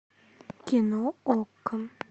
кино окко